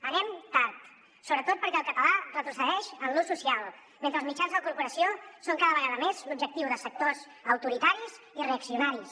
anem tard sobretot perquè el català retrocedeix en l’ús social mentre els mitjans de la corporació són cada vegada més l’objectiu de sectors autoritaris i reaccionaris